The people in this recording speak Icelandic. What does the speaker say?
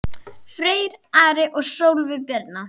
Freyr, Ari og Sólveig Birna.